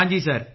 ਹਾਂ ਸਰ